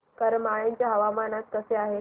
करमाळ्याचे हवामान आज कसे आहे